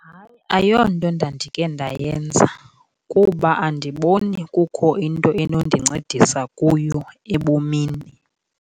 Hayi, ayonto ndandikhe ndayenza kuba andiboni kukho into enondincedisa kuyo ebomini.